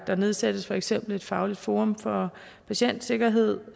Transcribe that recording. der nedsættes for eksempel et fagligt forum for patientsikkerhed